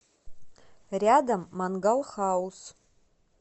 рядом мангал хаус